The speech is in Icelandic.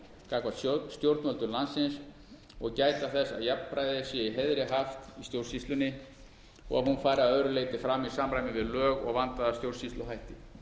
gagnvart stjórnvöldum landsins og gæta þess að jafnræði sé í heiðri haft í stjórnsýslunni og hún fari að öðru leyti fram í samræmi við lög og vandaða stjórnsýsluhætti